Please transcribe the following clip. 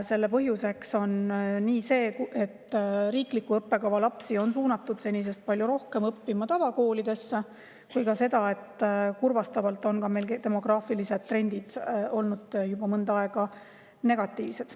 Selle põhjuseks on nii see, et riikliku õppekava lapsi on suunatud senisest palju rohkem õppima tavakoolidesse, kui ka see, et kurvastavalt on meil demograafilised trendid olnud juba mõnda aega negatiivsed.